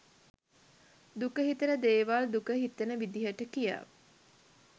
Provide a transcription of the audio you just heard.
දුක හිතෙන දේවල් දුක හිතෙන විදිහට කියා